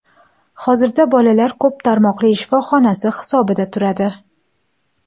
Hozirda bolalar ko‘p tarmoqli shifoxonasi hisobida turadi.